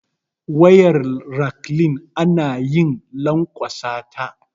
Wayar raklin anayi lankwasata